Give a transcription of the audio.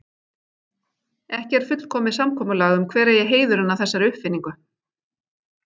Ekki er fullkomið samkomulag um hver eigi heiðurinn að þessari uppfinningu.